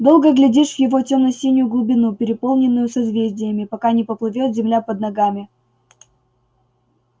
долго глядишь в его тёмно-синюю глубину переполненную созвездиями пока не поплывёт земля под ногами